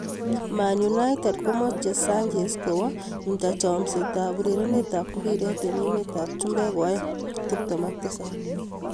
Man Utd komoche Sanchez kowo Inter chomset ab urerenet ab mbiret eng emet ab chumbek koaeng' 27.